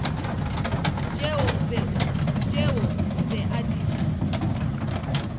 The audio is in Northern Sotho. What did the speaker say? tšeo o be a di